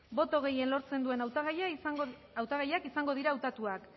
boto gehien lortzen duen hautagaiak izango dira hautatuak